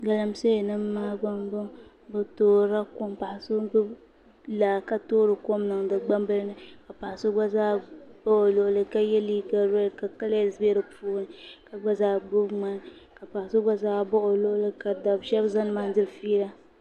Galamsee nim maa gba n boŋo bi toorila kom paɣa so n gbubi laa ka toori kom niŋdi di puuni paɣa so gba zaa bɛ o luɣuli ka yɛ liiga reed ka kalɛs bɛ di puuni ka gba zaa gbubi ŋmani ka paɣa so gba zaa baɣa o luɣuli ka dab shab ʒɛ nimaani diri fiila